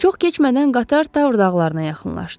Çox keçmədən qatar Tavr dağlarına yaxınlaşdı.